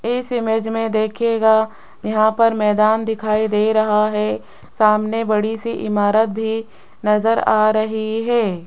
इस इमेज में देखिएगा यहां पर मैदान दिखाई दे रहा है सामने बड़ी सी इमारत भी नजर आ रही है।